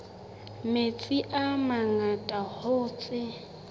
metsi a mangata hoo tse